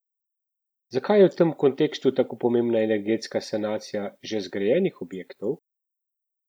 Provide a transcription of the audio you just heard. Zakaj je v tem kontekstu tako pomembna energetska sanacija že zgrajenih objektov?